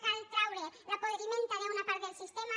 cal treure la podridura d’una part del sistema